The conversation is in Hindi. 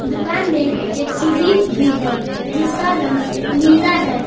दुकान में एक सीढ़ी भी है जिसका रंग नीला है।